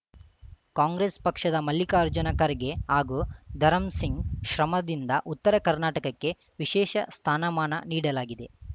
ಕಾಂಗ್ರೆಸ್‌ ಪಕ್ಷದ ಮಲ್ಲಿಕಾರ್ಜುನ ಖರ್ಗೆ ಹಾಗೂ ಧರಂಸಿಂಗ್‌ ಶ್ರಮದಿಂದ ಉತ್ತರ ಕರ್ನಾಟಕಕ್ಕೆ ವಿಶೇಷ ಸ್ಥಾನಮಾನ ನೀಡಲಾಗಿದೆ